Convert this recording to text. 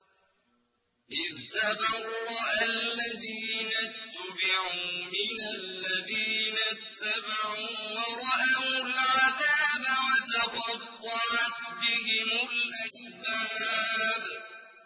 إِذْ تَبَرَّأَ الَّذِينَ اتُّبِعُوا مِنَ الَّذِينَ اتَّبَعُوا وَرَأَوُا الْعَذَابَ وَتَقَطَّعَتْ بِهِمُ الْأَسْبَابُ